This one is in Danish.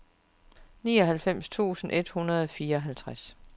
nioghalvfems tusind et hundrede og fireoghalvtreds